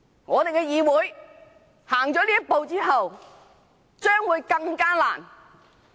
我們的議會走出這一步，以後將會面對更大困難。